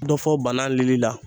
Dɔ fɔ bana lili la